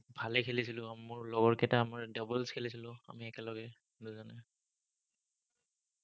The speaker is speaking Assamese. ভালেই খেলিছিলো। উম মোৰ লগৰ কেইটা আমাৰ doubles খেলিছিলো, আমি একেলগে দুজনে।